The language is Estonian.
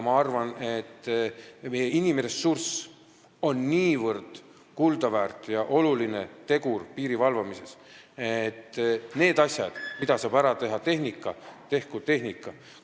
Ma arvan, et meie inimressurss on niivõrd kuldaväärt ja oluline tegur piiri valvamisel, et neid asju, mida saab ära teha tehnikaga, tehkugi tehnika.